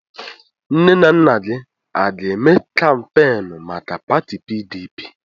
Nne na nna gị aga-eme kampeenụ́ maka pati PDP?